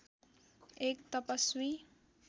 एक तपस्वी